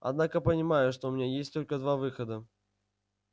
однако понимаю что у меня есть только два выхода